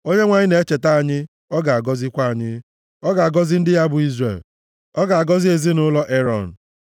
Onyenwe anyị na-echeta anyị, ọ ga-agọzikwa anyị, ọ ga-agọzi ndị ya bụ Izrel, ọ ga-agọzi ezinaụlọ Erọn,